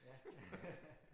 Ja